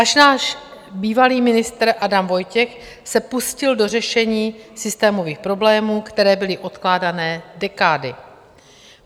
Až náš bývalý ministr Adam Vojtěch se pustil do řešení systémových problémů, které byly odkládané dekády.